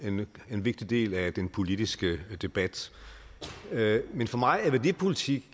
vigtig del af den politiske debat men for mig har værdipolitik